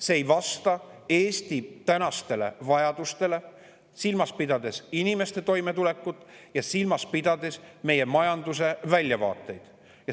See ei vasta Eesti tänastele vajadustele, silmas pidades inimeste toimetulekut ja silmas pidades meie majanduse väljavaateid.